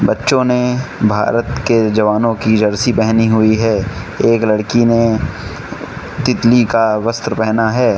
बच्चों ने भारत के जवानों की जर्सी पहनी हुई है एक लड़की ने तितली का वस्त्र पहना है।